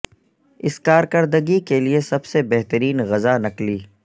اس کارکردگی کے لئے سب سے بہترین غذا نکلی